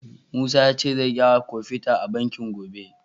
Musa ya ce zai gyara kofita a banki gobe.